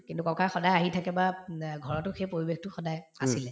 কিন্তু ককা সদায় আহি থাকে বা উম অ ঘৰতো সেই পৰিৱেশটো সদায়ে আছিলে